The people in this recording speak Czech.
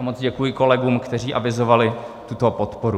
A moc děkuji kolegům, kteří avizovali tuto podporu.